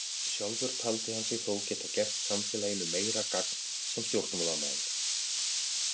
Sjálfur taldi hann sig þó geta gert samfélaginu meira gagn sem stjórnmálamaður.